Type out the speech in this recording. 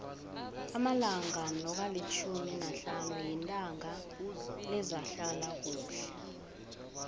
amalanga nokalitjhumi nahlanu yitanga lezehlalakuhle